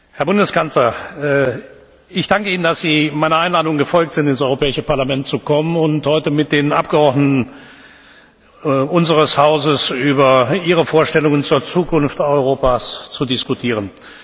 Herr Bundeskanzler! Ich danke Ihnen, dass Sie meiner Einladung gefolgt sind, ins Europäische Parlament zu kommen und heute mit den Abgeordneten unseres Hauses über Ihre Vorstellungen zur Zukunft Europas zu diskutieren.